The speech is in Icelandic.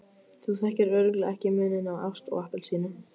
Þú þekkir örugglega ekki muninn á ást og appelsínu.